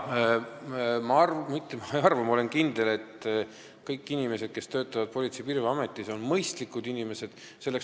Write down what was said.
Ma mitte ei arva, vaid ma olen kindel, et kõik inimesed, kes töötavad Politsei- ja Piirivalveametis, on mõistlikud inimesed.